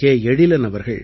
எழிலன் அவர்கள்